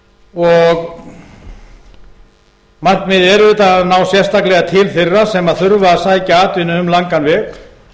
og markmiðið er auðvitað að ná sérstaklega til þeirra sem þurfa að sækja atvinnu um langan veg